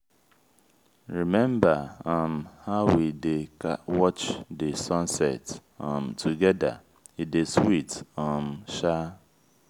rememba um how we dey watch di sunset um togeda e dey sweet um sha.